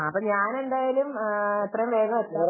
അപ്പൊ ഞാൻ എന്തായാലും എത്രയും വേഗം എത്താം